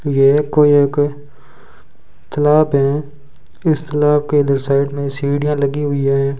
ये कोई एक तलाब हैं इस तालाब के इधर साइड में सीढ़ियां लगी हुई हैं।